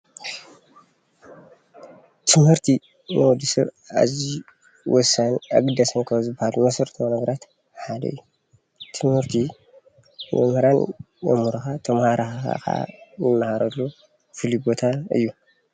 ትምህርቲ ንወድ ሰብ ኣዝዩ ወሳንን አገዳሲን መሰረታዊ ካብ ዝበሃሉ ነገራት ሓደ እዩ። ትምህርቲ መምህራን የምህሩኻ ተምሃሮ ኸዓ ንምሃረሉ ፍሉይ ቦታ እዩ።